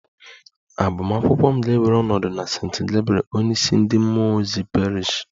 Agbamakwụkwọ m ga-ewere ọnọdụ na St. Gabriel onyeisi ndị mmụọ ozi Parish